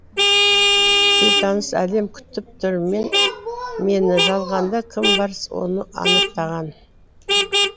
бейтаныс әлем күтіп тұр мені жалғанда кім бар соны анықтаған